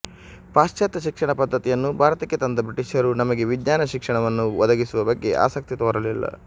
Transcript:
ಪಾಶ್ಚಾತ್ಯ ಶಿಕ್ಷಣ ಪದ್ಧತಿಯನ್ನು ಭಾರತಕ್ಕೆ ತಂದ ಬ್ರಿಟಿಷರು ನಮಗೆ ವಿಜ್ಞಾನ ಶಿಕ್ಷಣವನ್ನು ಒದಗಿಸುವ ಬಗ್ಗೆ ಆಸಕ್ತಿ ತೋರಲಿಲ್ಲ